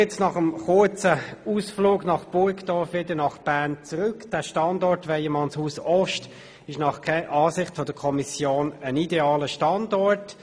Nun nach dem kurzen Ausflug nach Burgdorf wieder zurück nach Bern: Der Standort Weyermannshaus Ost ist nach Ansicht der Kommission ein idealer Standort.